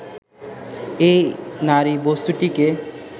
এই নারীবস্তুটিকে